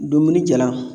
Dumuni jalan